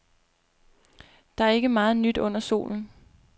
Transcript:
Der er ikke meget nyt under solen.